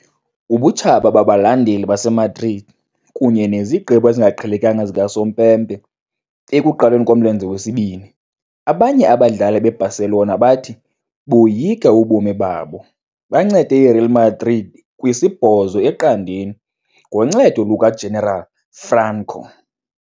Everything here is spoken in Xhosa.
Ubutshaba babalandeli baseMadrid, kunye nezigqibo ezingaqhelekanga zikasompempe, ekuqaleni komlenze wesibini, abanye abadlali beBarcelona bathi, boyika ubomi babo, bancede iReal Madrid kwi-8-0 ngoncedo lukaGeneral Franco.